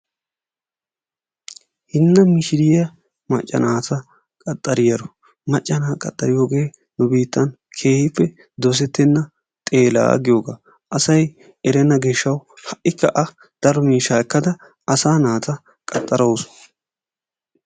Hinna mishiriya macca naata qaxxariyaaro, macca naata qaxxariyooge nu biittan keehippe dosettenna xeela giyooga. Asay erenna gishshawu ha''ikka A daro miishsha ekkada asaa naata qaxxarawusu.